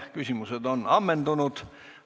Küsimused on ammendunud.